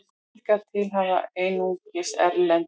Hingað til hafa einungis erlend